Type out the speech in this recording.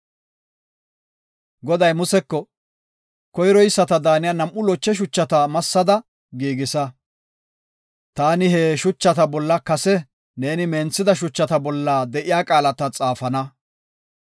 Goday Museko, “Koyroyisata daaniya nam7u loche shuchata massada giigisa. Taani he shuchata bolla kase neeni menthida shuchata bolla de7iya qaalata xaafana.